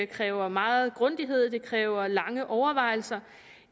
kræver meget grundighed det kræver lange overvejelser